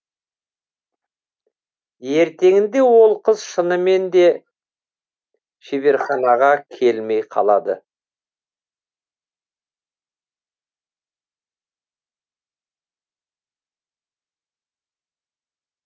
ертеңінде ол қыз шынымен де шеберханаға келмей қалады